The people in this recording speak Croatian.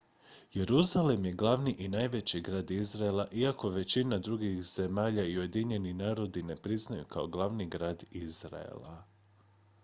jeruzalem je glavni i najveći grad izraela iako ga većina drugih zemalja i ujedinjeni narodi ne priznaju kao glavni grad izraela